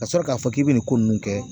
Ka sɔrɔ k'a fɔ k'i bɛ nin ko ninnu kɛ